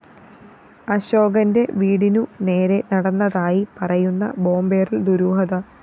അശോകന്റെ വീടിനു നേരെ നടന്നതായി പറയുന്ന ബോംബേറില്‍ ദുരൂഹത